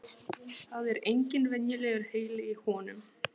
Það er engin venjulegur heili í honum.